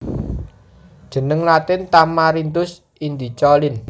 Jeneng Latin Tamarindus indica Linn